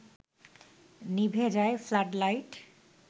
নিভে যায় flood light